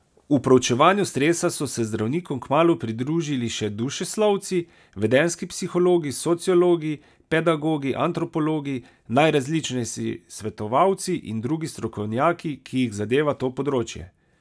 V proučevanju stresa so se zdravnikom kmalu pridružili še dušeslovci, vedenjski psihologi, sociologi, pedagogi, antropologi, najrazličnejši svetovalci in drugi strokovnjaki, ki jih zadeva to področje.